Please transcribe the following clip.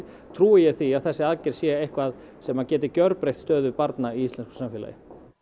trúi ég því að þessi aðgerð sé eitthvað sem geti gjörbreytt stöðu barna í íslensku samfélagi